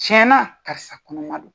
Tiyɛn na karisa kɔnɔma do.